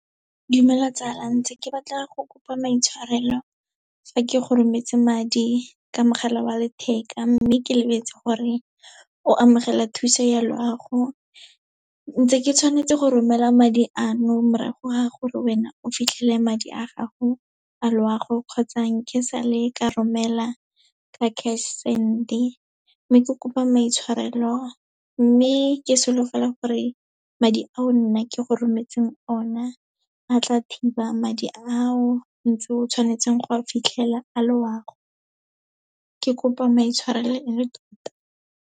Dumela tsala, ntse ke batla go kopa maitshwarelo fa ke go rometse madi ka mogala wa letheka, mme ke lebetse gore o amogela thuso ya loago. Ntse ke tshwanetse go romela madi ano, morago ga gore wena o fitlhele madi a gago a loago, kgotsa nke sa le ka romela ka cash send-e. Mme ke kopa maitshwarelo, mme ke solofela gore madi ao nna ke go rometseng ona a tla thiba madi ao ntse o tshwanetseng go a fitlhelela a loago, ke kopa maitshwarelo e le tota.